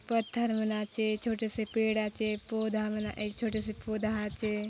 पत्थर मन आचे छोटे से पेड़ आचे पौधा मन छोटे से पौधा आचे।